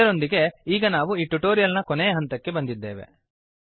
ಇದರೊಂದಿಗೆ ಈಗ ನಾವು ಈ ಟ್ಯುಟೋರಿಯಲ್ ನ ಕೊನೆಯ ಹಂತಕ್ಕೆ ಬಂದಿದ್ದೇವೆ